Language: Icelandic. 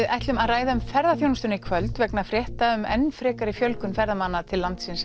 ætlum að ræða um ferðaþjónustuna í kvöld vegna frétta um enn frekari fjölgun ferðamanna til landsins